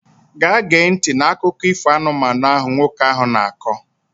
Gaa gee ntị n'akụkọ ifo anụmanụ ahụ nwoke ahụ na-akọ!